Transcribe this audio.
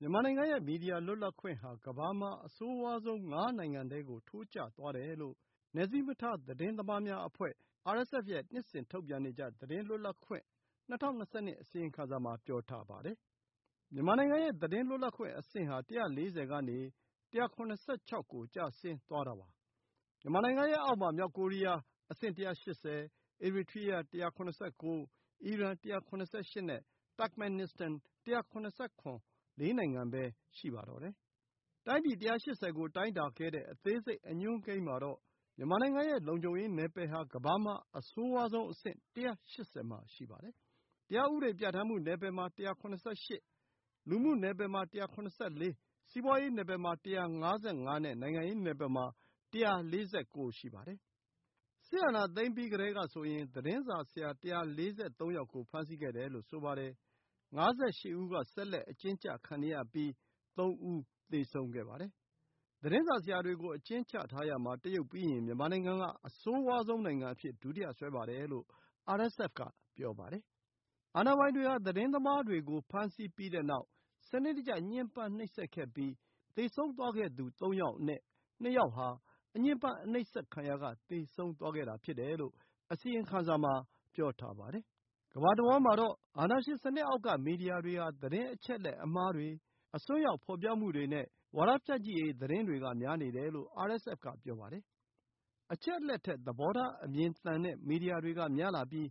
မြန်မာနိုင်ငံရဲ့ မီဒီယာလွတ်လပ်ခွင့်ဟာ ကမ္ဘာမှာ အဆိုးဝါးဆုံး ၅ နိုင်ငံထဲကို ထိုးကျသွားတယ်လို့ နယ်စည်းမခြား သတင်းသမားများအဖွဲ့ (RSF) ရဲ့ နှစ်စဉ် ထုတ်ပြန်နေကျ သတင်းလွတ်လပ်ခွင့် ၂၀၂၂ အစီအရင်ခံစာ မှာ ပြောထားပါတယ်။ မြန်မာနိုင်ငံရဲ့ သတင်းလွတ်လပ်ခွင့်အဆင့်ဟာ ၁၄၀ ကနေ ၁၇၆ ကို ကျဆင်းသွားတာပါ။ မြန်မာနိုငံရဲ့ အောက်မှာ မြောက်ကိုရီးယား (အဆင့် ၁၈၀)၊ အီရီထရီးယား (၁၇၉)၊ အီရန် (၁၇၈) နဲ့ တပ်ခ်မင်နစ္စတန် (၁၇၇) ၄ နိုင်ငံပဲ ရှိပါတော့တယ်။ တိုင်းပြည် ၁၈၀ ကို တိုင်းတာခဲ့တဲ့ အသေးစိတ်အညွှန်းကိန်းမှာတော့ မြန်မာရဲ့ လုံခြုံရေးနယ်ပယ်ဟာ ကမ္ဘာမှာ အဆိုးဝါးဆုံးအဆင့် ၁၈၀ မှာ ရှိပါတယ်။ တရားဥပဒေ ပြဌာန်းမှုနယ်ပယ်မှာ ၁၇၈၊ လူမှုနယ်ပယ်မှာ ၁၇၄၊ စီးပွါးရေးနယ်ပယ်မှာ ၁၅၅ နဲ့ နိုင်ငံရေးနယ်ပယ်မှာ ၁၄၉ ရှိပါတယ်။ စစ်အာဏာ သိမ်းပြီးကတည်းကဆိုရင် သတင်းစာဆရာ ၁၄၃ ယောက်ကို ဖမ်းဆီးခဲ့ပြီး ၅၈ ဦးက ဆက်လက် အကျဉ်းကျခံနေရဆဲ၊ ၃ ဦး သေဆုံးခဲ့ပါတယ်။ သတင်းစာဆရာတွေကို အကျဉ်းချထားရာမှာ တရုတ်ပြီးရင် မြန်မာနိုင်ငံက အဆိုးဝါးဆုံးနိုင်ငံအဖြစ် ဒုတိယ စွဲပါတယ်လို့ RSF က ပြောပါတယ်။ အာဏာပိုင်တွေဟာ သတင်းသမားတွေကို ဖမ်းဆီးပြီးတဲ့နောက် စနစ်တကျ ညှဉ်ပန်းနှိပ်စက် ခဲ့ပြီး သေသွားခဲ့သူ ၃ ယောက်အနက် ၂ ယောက်ဟာ အညှဉ်ပန်း အနှိပ်စက်ခံရာက သေဆုံးသွားတာဖြစ်တယ်လို့ အစီရင်ခံစာ မှာ ပြောထားပါတယ်။ ကမ္ဘာတဝှမ်းမှာတော့ အာဏာရှင်စနစ်အောက်က မီဒီယာတွေဟာ သတင်းအချက်အလက် အမှားတွေ၊ အစွန်းရောက် ဖော်ပြမှုတွေနဲ့ ဝါဒဖြန့်ချိရေးသတင်းတွေက များနေတယ်လို့ RSF က ပြောပါတယ်။ အချက်အလက် ထက် သဘောထား အမြင်သန်တဲ့ မီဒီယာတွေကများလာပြီး